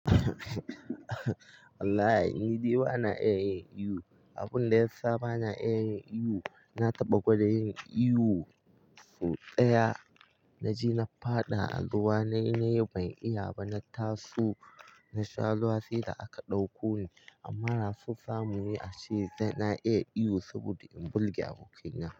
Walahi ni dai ba na iya yin ihu, abun da ya sa ba na iya yin ihu, na taɓa gwada yin ihu sau daya na ji na faɗa a ruwa na yi ban iya ba, na taso na sha ruwa sai da aka ɗauko ni amma nasu zamuyi ashe na iya ihu saboda in burge abokaina.